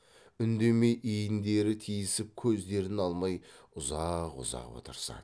үндемей иіндері тиісіп көздерін алмай ұзақ ұзақ отырысады